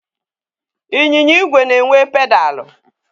Ịnyịnya igwe na-enwe pedalụ.